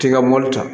T'i ka mobili ta